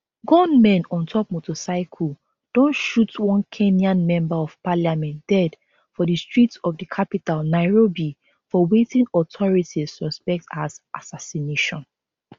gunmen on top motorcycle don shoot one kenyan member of parliament dead for di streets of di capital nairobi for wetin authorities suspect as assassination